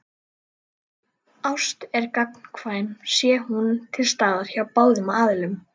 Ást er gagnkvæm sé hún til staðar hjá báðum aðilum.